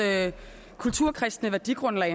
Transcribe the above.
kulturkristne værdigrundlag